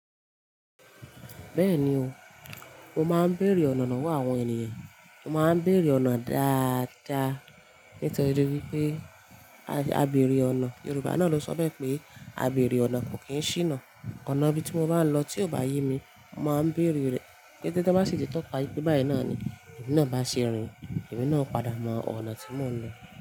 Bẹ́ẹ̀ni o, mo máa ń béèrè ọ̀nà lowo àwọn ènìyàn. Mo máa ń béèrè ọ̀nà dáadáa nítorí pé a béèrè ọ̀nà. Yorùbá náà ló sọ pé "a béèrè ọ̀nà kò kí ń ṣíná". Ọ̀nà bí ti mo bá ń lọ tí ò bá yé mi, mo màá n béèrè rẹ̀. Ketẹ tan bá sì ti tọ́ka pé báyìí náà ni, èmi náà bá ṣe rìn, èmi náà padà mọ ọ̀nà tí mò ń lọ.